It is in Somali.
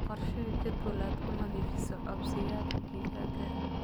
Qorshee jadwal aad ku nadiifinayso coobsiyada digaaga.